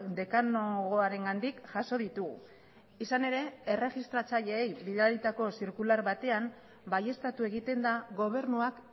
dekanogoarengandik jaso ditugu izan ere erregistratzaileei bidalitako zirkular batean baieztatu egiten da gobernuak